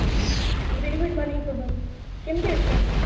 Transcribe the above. very good morning ଶୁଭମ କେମିତି ଅଛ